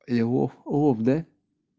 львов лофт да